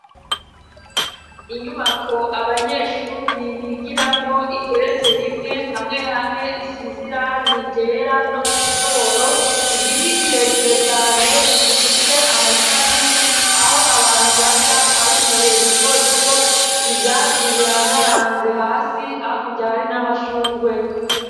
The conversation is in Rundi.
Inyubako abanyeshuri bigiramwo igeretse rimwe hamwe hamwe isize irangi ryera no ku dutoboro, igiti kirekire cane gifise amashami, aho abantu baca ari utuboro duto duto, ivyatsi birandaranze hasi hakurya hari n'amashurwe.